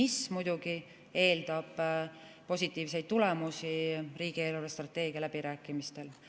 See muidugi eeldab positiivseid tulemusi riigi eelarvestrateegia läbirääkimistel.